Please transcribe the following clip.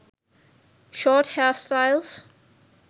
short hairstyles